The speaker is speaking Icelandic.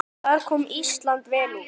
Þar kom Ísland vel út.